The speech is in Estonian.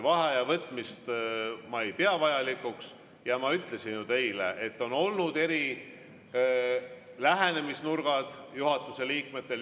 Vaheaja võtmist ma ei pea vajalikuks ja ma ju ütlesin teile, et on olnud eri lähenemisnurgad juhatuse liikmetel.